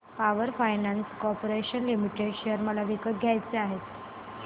power finance corporation limited share मला विकत घ्यायचे आहेत